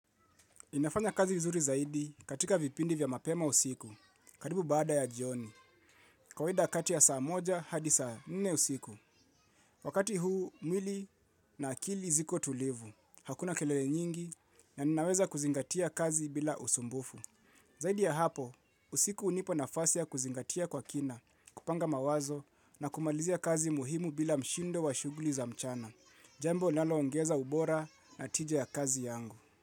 Ninafanya kazi vizuri zaidi katika vipindi vya mapema usiku karibu baada ya jioni. Kawaida kati ya saa moja hadi saa nne usiku. Wakati huu mwili na akili ziko tulivu. Hakuna kelele nyingi na ninaweza kuzingatia kazi bila usumbufu. Zaidi ya hapo usiku hunipa nafas ya kuzingatia kwa kina kupanga mawazo na kumalizia kazi muhimu bila mshindo wa shuguli za mchana. Jambo linalo ongeza ubora na tija ya kazi yangu.